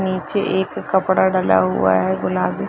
नीचे एक कपड़ा डला हुआ है गुलाबी --